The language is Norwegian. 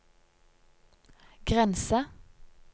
grense